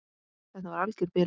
Þetta var alger bilun.